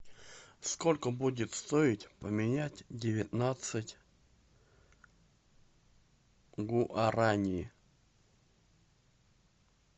сколько будет стоить поменять девятнадцать гуарани